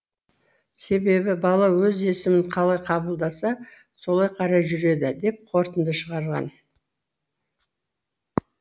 себебі бала өз есімін қалай қабылдаса солай қарай жүреді деп қортынды шығарған